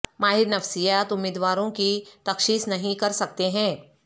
ماہر نفسیات امیدواروں کی تشخیص نہیں کر سکتے ہیں